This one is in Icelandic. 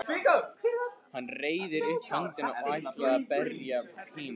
Hann reiðir upp höndina og ætlar að berja Pínu.